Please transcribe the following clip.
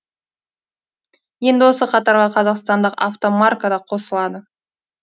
енді осы қатарға қазақстандық автомарка да қосылады